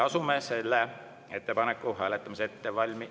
Asume selle ettepaneku hääletamise ettevalm…